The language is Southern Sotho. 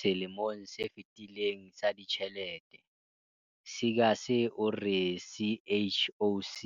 Selemong se fetileng sa ditjhelete, Seegers o re CHOC